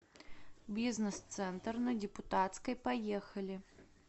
бизнес центр на депутатской поехали